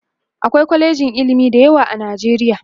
akwai kwalejin ilimi da yawa a nijeriya